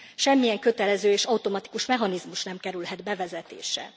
Semmilyen kötelező és automatikus mechanizmus nem kerülhet bevezetésre.